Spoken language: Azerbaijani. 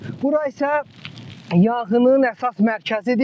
Bura isə yanğının əsas mərkəzidir.